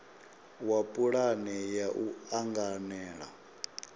wa pulane ya u anganela